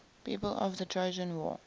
people of the trojan war